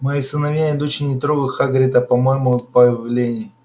мои сыновья и дочери не трогают хагрида по моему повелению